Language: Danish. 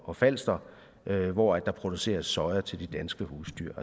og falster hvor der produceres soja til de danske husdyr